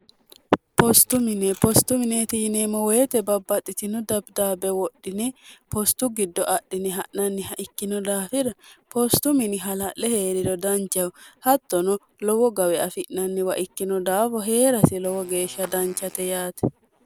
postumine postumineeti yineemmo woyite babbaxxichino dabidaabbe wodhine postu giddo adhine ha'nanniha ikkino daafida poostumini hala'le hee'rido danchahu hattono lowo gawe afi'nanniwa ikkino daafo hee'rasi lowo geeshsha danchate yaate